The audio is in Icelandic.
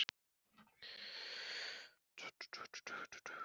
Og skilur nú hvað sagan hafði að segja, dansinn.